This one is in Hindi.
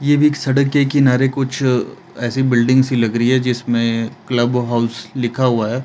ये भी सड़क के किनारे कुछ ऐसी बिल्डिंग सी लग रही है जिसमें क्लब हाउस लिखा हुआ है।